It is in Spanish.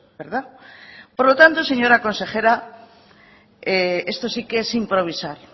verdad por lo tanto señora consejera esto sí quees improvisar